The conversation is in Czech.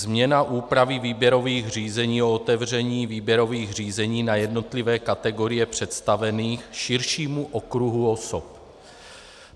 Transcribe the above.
Změna úpravy výběrových řízení o otevření výběrových řízení na jednotlivé kategorie představených širšímu okruhu osob.